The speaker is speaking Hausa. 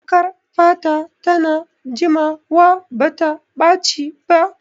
Jakar fata ta na jimawa bata ɓaci ba